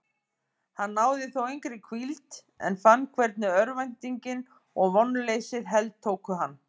Hann náði þó engri hvíld en fann hvernig örvæntingin og vonleysið heltóku hann.